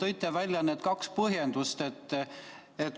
Te tõite välja kaks põhjendust.